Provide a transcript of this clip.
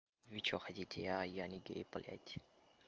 вы что хотите я я не гей блять